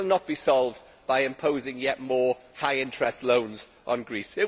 It will not be solved by imposing yet more high interest loans on Greece.